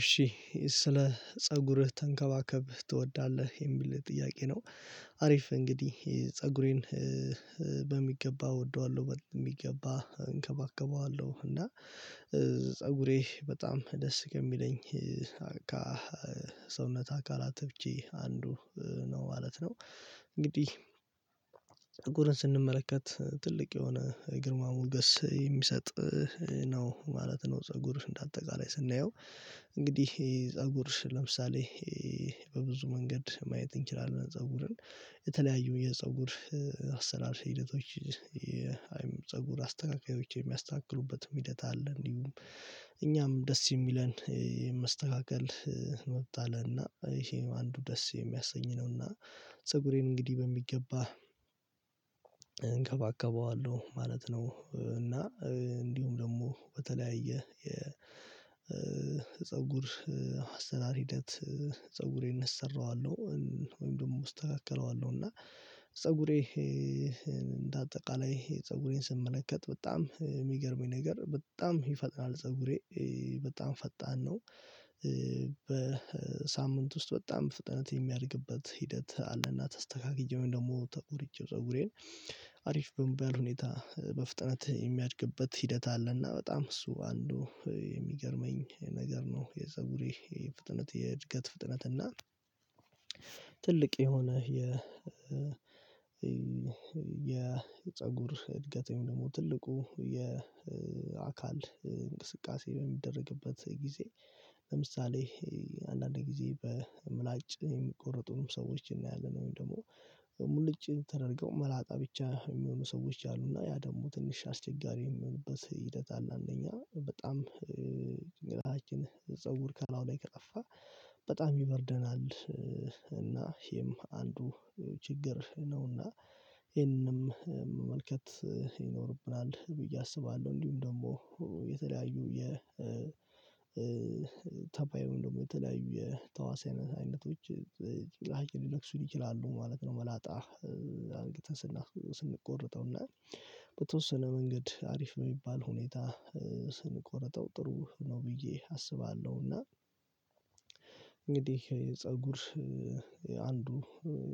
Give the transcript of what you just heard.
እሺ ስለ ፀጉርህ ተንከባክበህ ትወዳለህ የሚል ጥያቄ ነው? አሪፍ እንግዲህ ፀጉሬን በሚገባ እወደዋለሁ በሚገባ እንከባከበዋለሁ እና ፀጉሬ በጣም ደስ የሚለኝ ሰውነት አካላቶቼ አንዱ ነው ማለት ነው። እንግዲህ ፀጉርን ስንመለከት ትልቅ የሆነ ግርማ ሞገስ የሚሰጥ ነው ማለት ነው። ፀጉር እንደ አጠቃላይ ስናየው እንግዲህ ፀጉር ለምሳሌ በብዙ መንገድ ማየት እንችላለን ፀጉርን የተለያዩ የፀጉር አሰራር ሂደቶች አይሚን የፀጉር አስተካካዮች የሚያስተካክሉበትም ሂደት አለ እንዲሁም እኛም ደስ የሚለንን መስተካከል መብት አለን። እና ይሄ አንዱ ደስ የሚያሰኝ ነው እና ፀጉሬን እንግዲህ በሚገባ እንከባከበዋለሁ ማለት ነው። እና እንዲሁም ደግሞ በተለያየ የፀጉር አሰራር ሂደት ፀጉሬን እሰራዋለሁ ወይም ደግሞ አስተካክለዋለሁ እና ፀጉሬ እንደ አጠቃላይ ፀጉሬን ስመለከት በጣም የሚገርመኝ ነገር በጣም ይፈጥናል ፀጉሬ በጣም ፈጣን ነው። በሳምንት ውስጥ በጣም በፍጥነት የሚያድግበት ሂደት አለና ተስተካክዬው ወይም ደግሞ ተቆርጬው ፀጉሬን አሪፍ በሚባል ሁኔታ በፍጥነት የሚያድግበት ሂደት አለና በጣም እሱ አንዱ የሚገርመኝ ነገር ነው። የፀጉሬ የፍጥነት የእድገት ፍጥነት እና ትልቅ የሆነ የ የፀጉር እድገት ወይም ደግሞ ትልቁ የአካል እንቅስቃሴ በሚደረግበት ጊዜ ለምሳሌ አንዳንዴ በምላጭ የሚቆርጡም ሰዎች እናያለን ወይም ደግሞ ሙሉጭ ተደርገው መላጣ ብቻ የሚሆኑ ሰዎች አሉ እና ያ ደግሞ ትንሽ አስቸጋሪ የሚሆንበት ሂደት አለ። አንደኛ በጣም ጭንቅላታችን ፀጉር ከላዩ ላይ ከጠፋ በጣም ይበርደናል እና ይሄም አንዱ ችግር ነውና ይሄንንም መመልከት ይኖርብናል ብዬ አስባለሁ እንዲሁም ደግሞ የ ተባይ ወይም የተለያዩ የተዋህስ አይነት አይነቶች ሊነክሱን ይችላሉ ማለት ነው። መላጣ አድርገን ስንቆረጠው እና በተወሰነ መንገድ አሪፍ በሚባል ሁኔታ ስንቆርጠው ጥሩ ነው ብዬ አስባለሁና እና እንግዲህ የፀጉር አንዱ